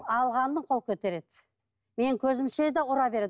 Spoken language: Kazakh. алғаннан қол көтереді менің көзімше де ұра береді